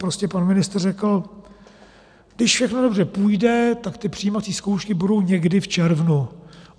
Prostě pan ministr řekl: Když všechno dobře půjde, tak ty přijímací zkoušky budou někdy v červnu.